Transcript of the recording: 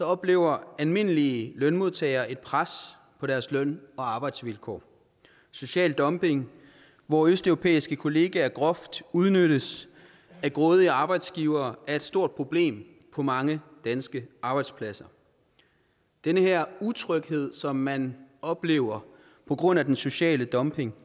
oplever almindelige lønmodtagere et pres på deres løn og arbejdsvilkår social dumping hvor østeuropæiske kollegaer groft udnyttes af grådige arbejdsgivere er et stort problem på mange danske arbejdspladser den her utryghed som man oplever på grund af den sociale dumping